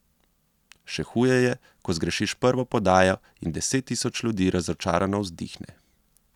Še huje je, ko zgrešiš prvo podajo in deset tisoč ljudi razočarano vzdihne.